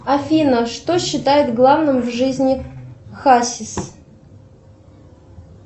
афина что считает главным в жизни хасис